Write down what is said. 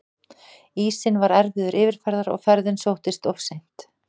Ísinn var erfiður yfirferðar og ferðin sóttist of seint.